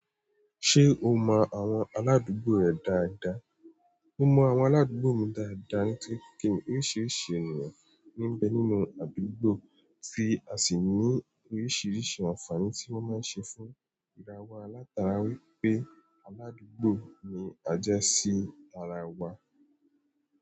Ṣé o mọ àwọn aládùúgbò rẹ dáadáa? Mo mọ àwọn aládùúgbò mi dáadáa nítorí pé kìí oríṣiríṣi ènìyàn ní ń bẹ nínú àdúgbò, tí a sì ní oríṣiríṣi àǹfààní tí wọ́n máa ń ṣe fún ìràwa látara wípé aládùúgbò ni à jẹ́ sí ara wa.